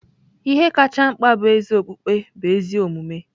Ihe kacha mkpa bụ ezi okpukpe bụ ezi omume.